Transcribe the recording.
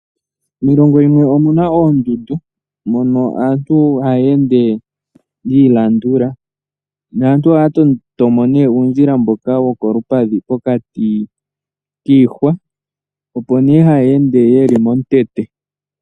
Miilongo yimwe omuna oondundu mono aantu haya ende ya ilandula, naantu ohaya toto mo nee uundjila mboka wo kolupadhi pokati kiihwa, opo nee haya ende yeli momukweyo.